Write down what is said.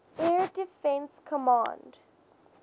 air defense command